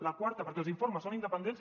el quart perquè els informes són independents